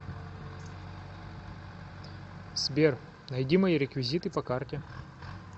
сбер найди мои реквизиты по карте